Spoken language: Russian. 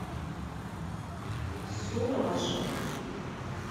сураж